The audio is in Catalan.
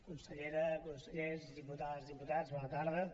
consellera consellers diputades diputats bona tarda